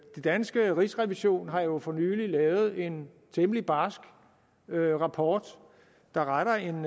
danske rigsrevision har jo for nylig lavet en temmelig barsk rapport der retter en